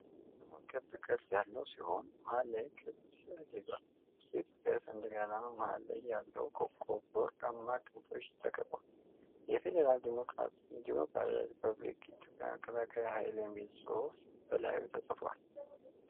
የአርማው ክብ ቅርጽ ያለው ሲሆን፣ መሃል ላይ ቀይ ክብ ስዕል ይዟል። በውስጡ የኢትዮጵያ ሰንደቅ ዓላማ መሃል ላይ ያለው ኮከብ፣ በወርቃማ ክንፎች ተከብቧል። የፌዴራል ዴሞክራሲያዊ ሪፐብሊክ ኢትዮጵያ መከላከያ ኃይል የሚል ጽሁፍ በላዩ ተፅፏል።